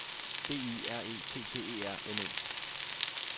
B Y R E T T E R N E